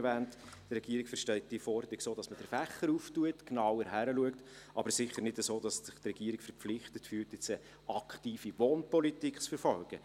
Die Regierung versteht diese Forderung so, dass man den Fächer öffnet, genauer hinschaut, aber sicher nicht so, dass sich die Regierung verpflichtet fühlt, jetzt eine aktive Wohnpolitik zu verfolgen.